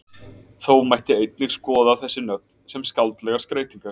Þó mætti einnig skoða þessi nöfn sem skáldlegar skreytingar.